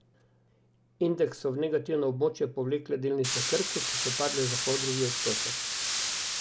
Indeks so v negativno območje povlekle delnice Krke, ki so padle za poldrugi odstotek.